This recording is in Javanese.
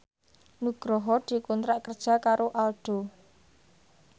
Nugroho dikontrak kerja karo Aldo